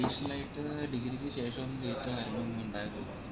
degree ക്ക് ശേഷം ഇണ്ടായിരുന്നില്ല